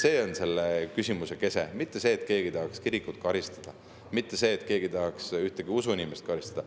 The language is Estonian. See on selle küsimuse kese, mitte see, et keegi tahaks kirikut karistada, mitte see, et keegi tahaks mõnd usuinimest karistada.